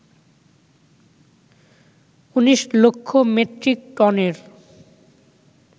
১৯ লক্ষ মেট্রিক টনের